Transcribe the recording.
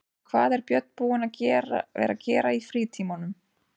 En hvað er Björn búinn að vera að gera í frítímanum?